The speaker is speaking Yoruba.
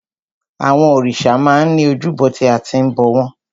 Àwọn òrìṣà máa ń ní ojúbọ tí a ti ń bọ̀ wọ́n.